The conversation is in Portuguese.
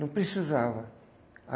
Não precisava. A